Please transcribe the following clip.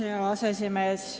Hea aseesimees!